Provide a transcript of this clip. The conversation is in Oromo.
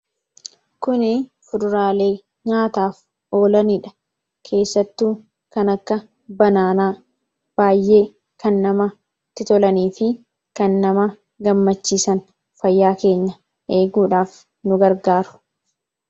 Kuni fuduraalee nyaataaf oolanidha. Keessattuu kan akka muuzii baay'ee kan namatti tolanii fi kan nama gammachiisan fayyaa keenya eeguudhaaf nu gargaaru.